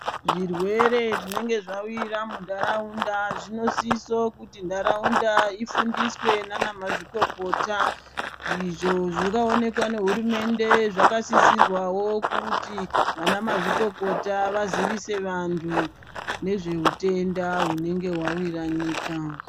Zvirwere zvinenge zvawira munharaunda zvinosiso kuti nharaunda ifundiswe ndiana mazvikokota. Izvo zvinoonekwa nehurumende zvakasisirwawo kuti vana mazvikokota vazivise vantu nezveutenda hunenge hwawira nyika.